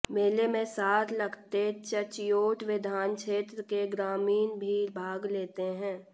मेले में साथ लगते चच्योट विधान क्षेत्र के ग्रामीण भी भाग लेते हैं